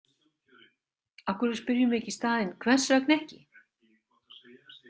Af hverju spyrjum við ekki í staðinn: Hvers vegna ekki?